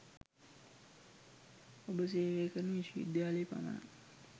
ඔබ සේවය කරන විශ්ව විද්‍යාලයේ පමණක්